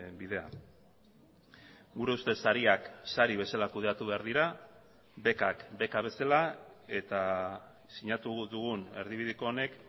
bidea gure ustez sariak sari bezala kudeatu behar dira bekak beka bezala eta sinatu dugun erdibideko honek